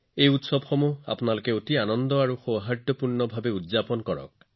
এই উৎসৱবোৰ অতি আনন্দ আৰু সম্প্ৰীতিৰে উদযাপন কৰক